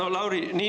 Aitäh!